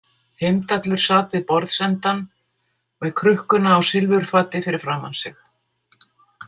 Heimdallur sat við borðsendann með krukkuna á silfurfati fyrir framan sig.